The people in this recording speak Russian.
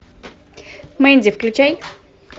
мэнди включай